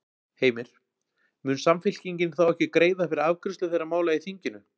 Heimir: Mun Samfylkingin þá ekki greiða fyrir afgreiðslu þeirra mála í þinginu?